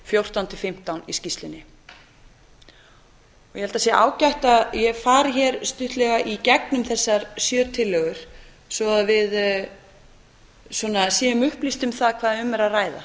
fjórtán til fimmtán í skýrslunni ég held að það sé ágætt að ég fari hér stuttlega í gegnum þessar sjö tillögur svo að við nú upplýst um það hvað um er að ræða